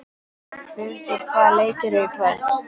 Vigtýr, hvaða leikir eru í kvöld?